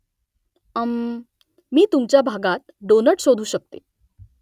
अम्म्म . मी तुमच्या भागात डोनट शोधू शकते